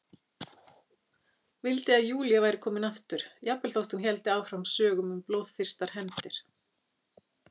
Vildi að Júlía væri komin aftur, jafnvel þótt hún héldi áfram sögum um blóðþyrstar hefndir.